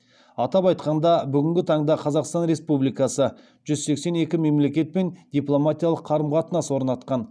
атап айтқанда бүгінгі таңда қазақстан республикасы жүз сексен екі мемлекетпен дипломатиялық қарым қатынас орнатқан